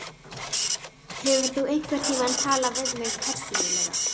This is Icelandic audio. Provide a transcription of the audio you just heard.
Hefur þú einhverntímann talað við mig persónulega?